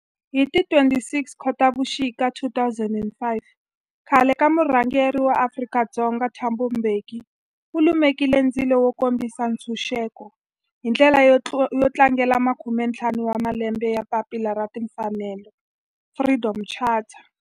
Hi ti 26 Khotavuxika 2005 khale ka murhangeri wa Afrika-Dzonga Thabo Mbeki u lumekile ndzilo wo kombisa ntshuxeko, hi ndlela yo tlangela makume-ntlhanu wa malembe ya papila ra timfanelo Freedom Charter.